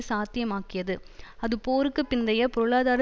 சாத்தியமாக்கியது அது போருக்கு பிந்தைய பொருளாதார